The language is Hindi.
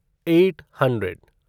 eight hundred